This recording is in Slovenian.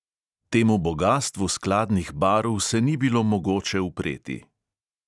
Temu bogastvu skladnih barv se ni bilo mogoče upreti.